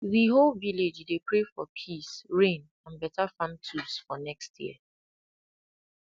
the whole village dey pray for peace rain and better farm tools for next year